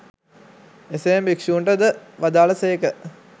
එසේම භික්‍ෂූන්ට ද වදාළ සේක